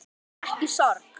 Ekki sorg.